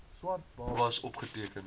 swart babas opgeteken